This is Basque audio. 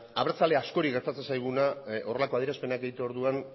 abertzale askori gertatzen zaiguna horrelako adierazpenak egiterako orduan